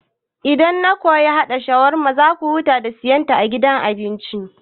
Idan na koyi haɗa shawarma za ku huta da siyan ta a gidan abinci